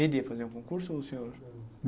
Ele ia fazer um concurso ou o senhor?